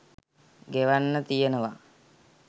ගෙවෙන්න තියනවා.